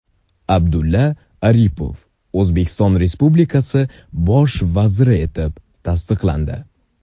Abdulla Aripov O‘zbekiston Respublikasi bosh vaziri etib tasdiqlandi.